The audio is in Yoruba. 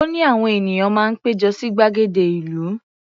Ó ní àwọn ènìyàn máa ń pé jọ sí gbàgede ìlú.